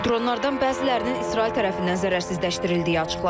Dronlardan bəzilərinin İsrail tərəfindən zərərsizləşdirildiyi açıqlanıb.